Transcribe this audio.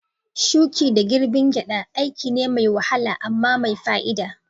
Shuki da girbin gyada aiki ne mai wahala amma mai fa'ida.